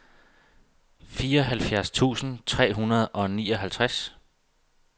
fireoghalvfjerds tusind tre hundrede og nioghalvtreds